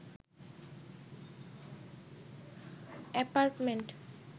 apartment